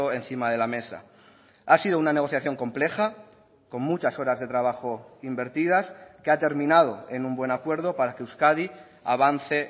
encima de la mesa ha sido una negociación compleja con muchas horas de trabajo invertidas que ha terminado en un buen acuerdo para que euskadi avance